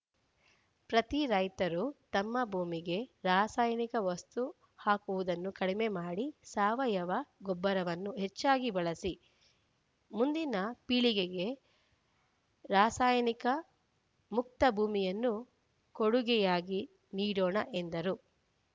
ಪ್ರತಿ ರೈತರೂ ನಮ್ಮ ಭೂಮಿಗೆ ರಾಸಾಯನಿಕ ವಸ್ತು ಹಾಕುವುದನ್ನು ಕಡಿಮೆ ಮಾಡಿ ಸಾವಯವ ಗೊಬ್ಬರವನ್ನು ಹೆಚ್ಚಾಗಿ ಬಳಸಿ ಮುಂದಿನ ಪೀಳಿಗೆಗೆ ರಾಸಾಯನಿಕ ಮುಕ್ತ ಭೂಮಿಯನ್ನು ಕೊಡುಗೆಯಾಗಿ ನೀಡೋಣ ಎಂದರು